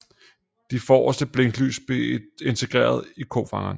De forreste blinklys blev integreret i kofangeren